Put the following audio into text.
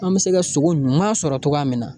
An bɛ se ka sogo ɲuman sɔrɔ cogoya min na